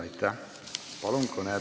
Aitäh!